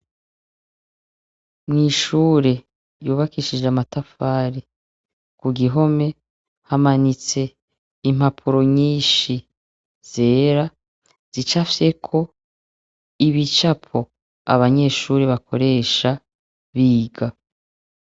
Mw'ishure, yubakishije amatafari, ku gihome, hamanitse impapuro nyinshi zera, zicafyeko ibicapo abanyeshure bakoresha biga.